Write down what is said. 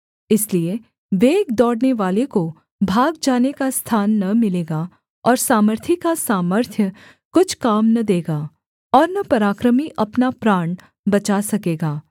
इसलिए वेग दौड़नेवाले को भाग जाने का स्थान न मिलेगा और सामर्थी का सामर्थ्य कुछ काम न देगा और न पराक्रमी अपना प्राण बचा सकेगा